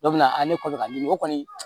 Dɔ bɛ na ne kɔ ka ɲini o kɔni